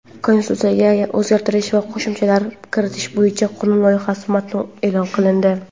Konstitutsiyaga o‘zgartish va qo‘shimchalar kiritish bo‘yicha qonun loyihasi matni eʼlon qilindi.